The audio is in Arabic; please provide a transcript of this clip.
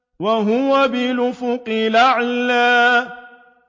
وَهُوَ بِالْأُفُقِ الْأَعْلَىٰ